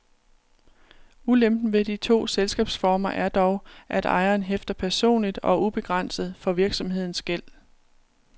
Ulempen ved de to selskabsformer er dog, at ejeren hæfter personligt og ubegrænset for virksomhedens gæld.